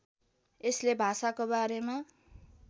यसले भाषाको बारेमा